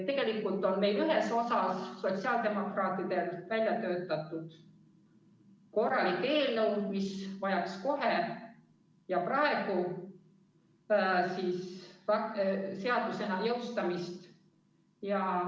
Tegelikult on meil ühes osas sotsiaaldemokraatidel välja töötatud korralik eelnõu, mis vajaks kohe ja praegu seadusena jõustamist.